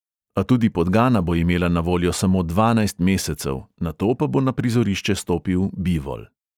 A tudi podgana bo imela na voljo samo dvanajst mesecev, nato pa bo na prizorišče stopil bivol.